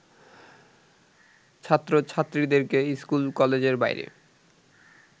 ছাত্রছাত্রীদেরকে স্কুল-কলেজের বাইরে